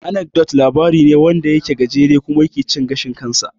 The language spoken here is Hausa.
Anecdote labari ne kawai wanda ke da gajere kuma mai cin gashin kansa.